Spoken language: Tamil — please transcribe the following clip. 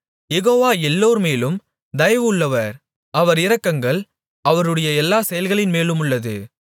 யெகோவா எல்லோர்மேலும் தயவுள்ளவர் அவர் இரக்கங்கள் அவருடைய எல்லாச் செயல்களின்மேலுமுள்ளது